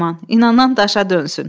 İnanan daşa dönsün.